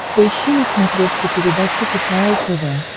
поищи на смотрешке передачу кхл тв